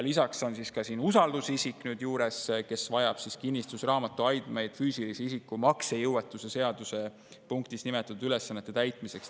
Lisaks on siin nüüd juures ka usaldusisik, kes vajab kinnistusraamatu andmeid füüsilise isiku maksejõuetuse seaduses nimetatud ülesannete täitmiseks.